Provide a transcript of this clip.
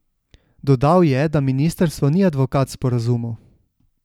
Dodal je, da ministrstvo ni advokat sporazumov.